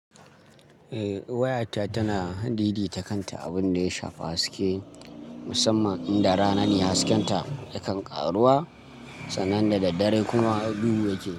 Eh wayarta tana daidai ta kanta, abun da ya shafa haske musamman inda rana ne hasken ta ya kan ƙaruwa sannan da daddare kuma duhu yake.